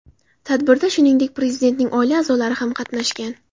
Tadbirda, shuningdek, Prezidentning oila a’zolari ham qatnashgan .